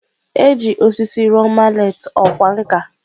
E ji osisi rụọ maleetị ọkwá nkà.